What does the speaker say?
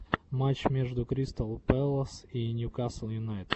матч между кристал пэлас и ньюкасл юнайтед